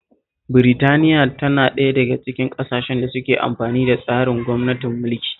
Britaniya tana daga cikin ƙasashen da suke amfani da tsarin gwamnatin mulki